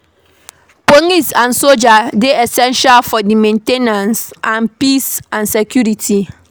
Police and soldier dey essential for di main ten ance of peace and security